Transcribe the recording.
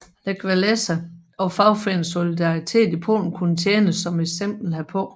Lech Wałęsa og fagforeningen Solidaritet i Polen kunne tjene som eksempel herpå